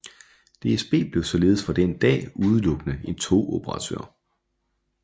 DSB blev således fra den dag udelukkende en togoperatør